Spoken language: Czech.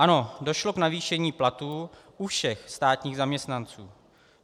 Ano, došlo k navýšení platů u všech státních zaměstnanců.